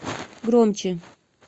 громче